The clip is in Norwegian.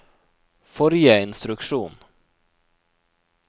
forrige instruksjon